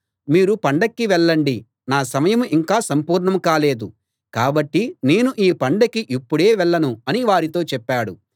మీరు పండక్కి వెళ్ళండి నా సమయం ఇంకా సంపూర్ణం కాలేదు కాబట్టి నేను ఈ పండక్కి ఇప్పుడే వెళ్ళను అని వారితో చెప్పాడు